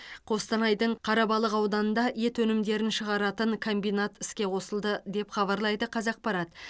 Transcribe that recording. қостанайдың қарабалық ауданында ет өнімдерін шығаратын комбинат іске қосылды деп хабарлайды қазақпарат